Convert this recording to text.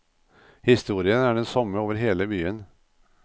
Historien er den samme over hele byen.